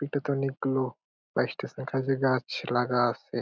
এটাতে অনেক গুলো | গাছ লাগা আছে ।